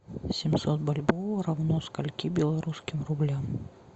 семьсот бальбоа равно скольки белорусским рублям